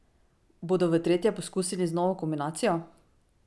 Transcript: Bodo v tretje poskusili z novo kombinacijo?